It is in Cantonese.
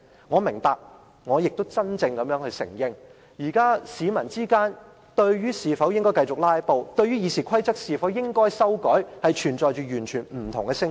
我明白亦承認，現時市民對應否繼續"拉布"和《議事規則》應否修改的問題，存在完全不同的聲音。